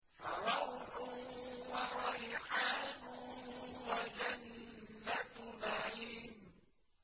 فَرَوْحٌ وَرَيْحَانٌ وَجَنَّتُ نَعِيمٍ